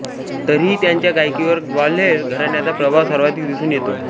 तरीही त्यांच्या गायकीवर ग्वाल्हेर घराण्याचा प्रभाव सर्वाधिक दिसून येतो